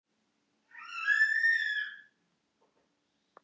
Hún sá fyrir sér byggingarnar sem brunnu.